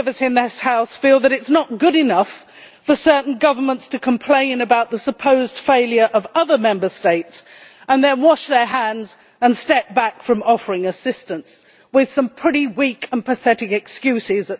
Many of us in the House feel that it is not good enough for certain governments to complain about the supposed failure of other Member States and then wash their hands of the matter and step back from offering assistance, with what are, at times, pretty weak and pathetic excuses.